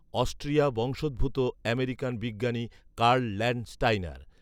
Austria বংশোদ্ভূত American বিজ্ঞানি Karl Landsteiner